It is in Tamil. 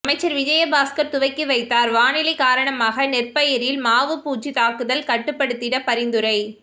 அமைச்சர் விஜயபாஸ்கர் துவக்கி வைத்தார் வானிலை காரணமாக நெற்பயிரில் மாவுப்பூச்சி தாக்குதல் கட்டுப்படுத்திட பரிந்துரை